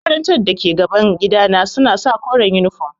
Makarantar da ke gaban gidana suna sa koren yunifom.